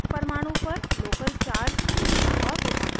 एक परमाणु पर local charge जोड़ना और रूपांतरित करना